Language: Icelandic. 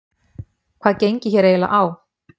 Hvað gengi hér eiginlega á?